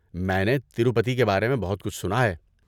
میں نے تروپتی کے بارے میں بہت کچھ سنا ہے۔